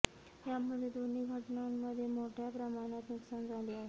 यामध्ये दोन्ही घटनांमध्ये मोठ्या प्रमाणात नुकसान झाले आहे